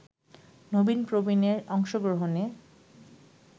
নবীন-প্রবীণের অংশগ্রহণে